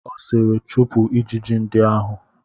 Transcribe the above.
Ọ sịịrị, chụpụ ijiji ndị ahụ!